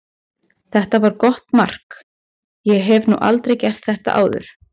Þetta var gott mark, ég hef nú aldrei gert þetta áður.